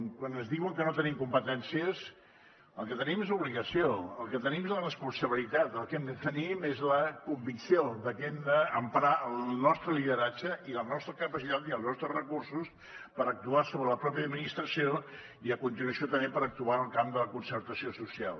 quan ens diuen que no tenim competències el que tenim és l’obligació el que tenim és la responsabilitat el que hem de tenir més la convicció de que hem d’emprar el nostre lideratge i les nostres capacitats i els nostres recursos per actuar sobre la pròpia administració i a continuació també per actuar en el camp de la concertació social